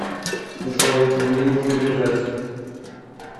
джой мне нужно бежать